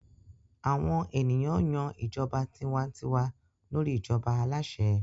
Àwọn ènìyàn yan ìjọba tiwa-n-tiwa lórí ìjọba aláṣẹ.